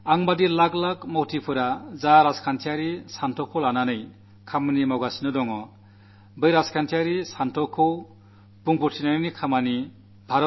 എന്നെപ്പോലുള്ള ലക്ഷക്കണക്കിന് പ്രവർത്തകർ ഏതൊരു ചിന്താധാരയ്ക്കനുസരിച്ചാണോ പ്രവർത്തിക്കുന്നത് അത് അവതരിപ്പിച്ചത് അദ്ദേഹമായിരുന്നു